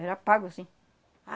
Era pago, sim.